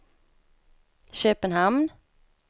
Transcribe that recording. Köpenhamn